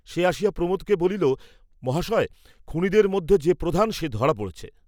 সে আসিয়া প্রমোদকে বলিল, মহাশয় খুনীদের মধ্যে যে প্রধান সেই ধরা পড়েছে।